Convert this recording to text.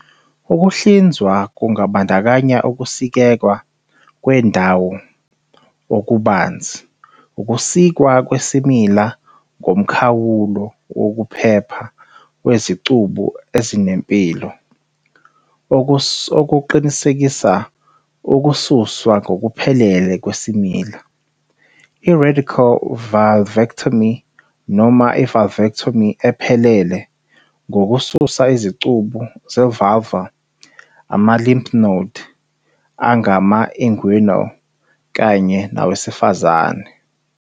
Ukuhlinzwa kungabandakanya ukusikeka kwendawo okubanzi, ukusikwa kwesimila ngomkhawulo wokuphepha wezicubu ezinempilo, okuqinisekisa ukususwa ngokuphelele kwesimila, i- radical vulvectomy, noma i-vulvectomy ephelele ngokususa izicubu ze-vulvar, ama- lymph node angama- inguinal kanye nawesifazane.